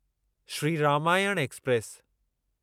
Shri Ramayan express